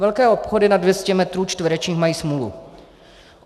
Velké obchody nad 200 metrů čtverečních mají smůlu.